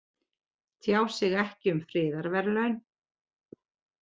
Tjá sig ekki um friðarverðlaun